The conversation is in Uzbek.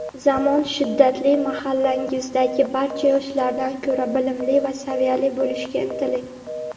Zamon shiddatli mahallangizdagi barcha yoshlardan ko‘ra bilimli va saviyali bo‘lishga intiling.